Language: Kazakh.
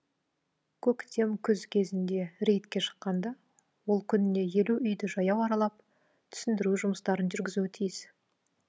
көктем күз кезінде рейдке шыққанда ол күніне елу үйді жаяу аралап түсіндіру жұмыстарын жүргізуі тиіс